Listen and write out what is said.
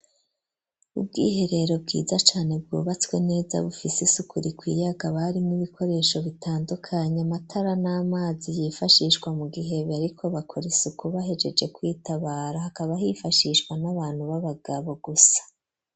Ubwiherero bwiza cane bwubatswe neza bufisi isuku rikwiye hakaba harimwo ibikoresho bitandukanye amatara n'amazi yifashishwa mu gihe bariko bakora isuku bahejeje kwitabara hakaba hifashishwa n'abantu b'abagabo gusa.